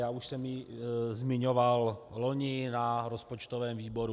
Já už jsem ji zmiňoval loni na rozpočtovém výboru.